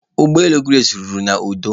Ụgbọ elu Grace rutere n'udo.